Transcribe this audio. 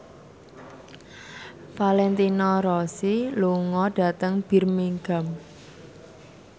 Valentino Rossi lunga dhateng Birmingham